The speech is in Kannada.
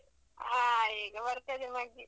ಹಾ, ಈಗ ಬರ್ತದೆ ಮಗ್ಗಿ.